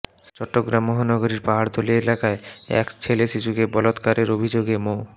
চট্টগ্রাম মহানগরীর পাহাড়তলী এলাকায় এক ছেলেশিশুকে বলাৎকারের অভিযোগে মো